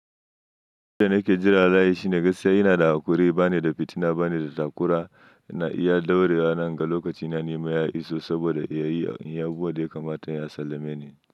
Abin da nake jira laƴi shine gaskiya ina da hakuri, ba ne da fitina, ba ne da takura ina iya daurewa nan ga lokaci na nema ya iso saboda ya yi inyi abubuwa da ya kamata ya sallame ni.